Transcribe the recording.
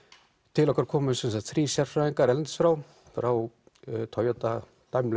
til okkar komu sem sagt þrír sérfræðingar erlendis frá frá Toyota